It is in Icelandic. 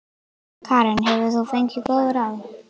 Karen: Hefur þú fengið góð ráð?